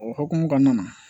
O hokumu kɔnɔna na